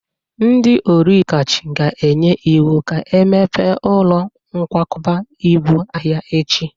Ndị oligarch ga-enye iwu ka emepee ụlọ nkwakọba ibu ahia echi